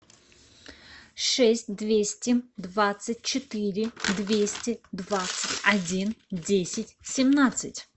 шесть двести двадцать четыре двести двадцать один десять семнадцать